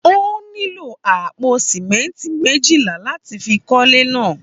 Ó nílò àpò sìmẹ́ńtì méjìlá àti fi kọ́lé náà.